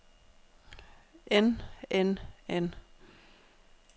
end end end